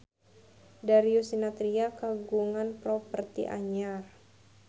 Darius Sinathrya kagungan properti anyar